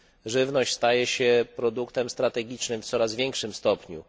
Żywność staje się produktem strategicznym w coraz większym stopniu.